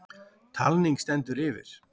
Talning stendur yfir.